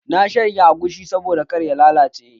Na shanya agushi saboda kar ya lalace